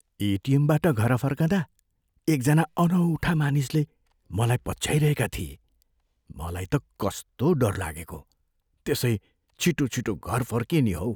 एटिएमबाट घर फर्कँदा एकजना अनौठा मानिसले मलाई पछ्याइरहेका थिए। मलाई त कस्तो डर लागेको, त्यसै छिटोछिटो घर फर्किएँ नि हौ।